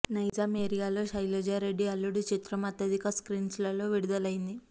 నైజాం ఏరియాలో శైలజారెడ్డి అల్లుడు చిత్రం అత్యధిక స్క్రీన్స్ లో విడుదలయింది